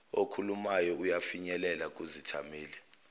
okhulumayo uyafinyelela kuzithameli